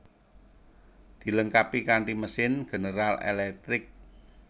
Dilengkapi kanti mesin General Electric